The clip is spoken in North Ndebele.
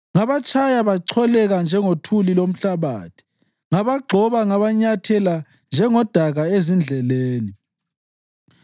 Ngabatshaya bacholeka njengothuli lomhlabathi; ngabagxoba ngabanyathela njengodaka ezindleleni.